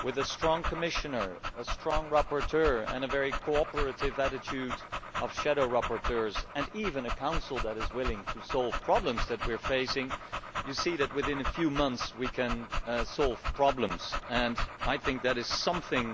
with a strong Commissioner, a strong rapporteur and a very cooperative attitude by shadow rapporteurs, and even a Council that is willing to solve problems that we are facing, you see that in a few months we can solve problems and I think that is something